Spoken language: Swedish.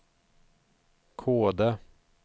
Kode